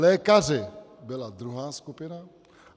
Lékaři byli druhá skupina.